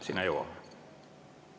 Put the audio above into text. Sinna jõuame!